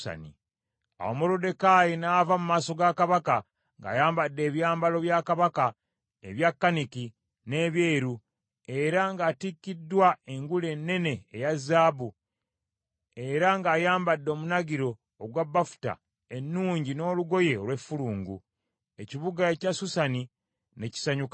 Awo Moluddekaayi n’ava mu maaso ga Kabaka ng’ayambadde ebyambalo bya Kabaka ebya kaniki n’ebyeru, era ng’atikkiddwa engule ennene eya zaabu, era ng’ayambadde omunagiro ogwa bafuta ennungi n’olugoye olw’effulungu. Ekibuga ekya Susani ne kisanyuka nnyo.